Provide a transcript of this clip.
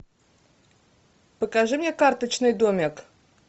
покажи мне карточный домик